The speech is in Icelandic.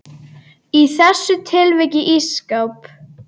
Í þessu tilviki ísskáp.